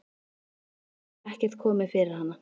andi hefur ekkert komið fyrir hana.